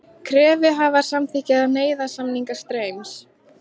Kröfuhafar samþykkja nauðasamninga Straums